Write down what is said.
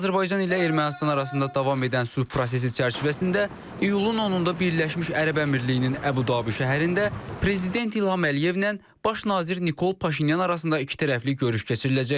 Azərbaycan ilə Ermənistan arasında davam edən sülh prosesi çərçivəsində iyulun 10-da Birləşmiş Ərəb Əmirliklərinin Əbu-Dabi şəhərində Prezident İlham Əliyevlə Baş nazir Nikol Paşinyan arasında ikitərəfli görüş keçiriləcək.